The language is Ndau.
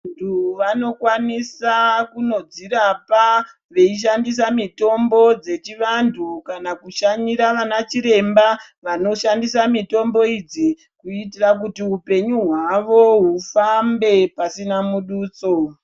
Vandu vanokwanisa kunodzirapa veshandisa mitombo dzechivandu kana kushanyira anachiremba vanoshandisa mutombo idzi kuitira kuti hupenyu hwavo ufambe pasina budutso.